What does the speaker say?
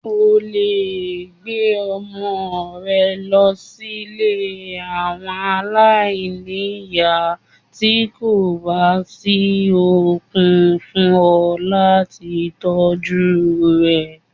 O lè gbé ọmọ rẹ sílè àwọn aláìníyà tí kò bá sí okun fún ọ láti tọ́jú rẹ.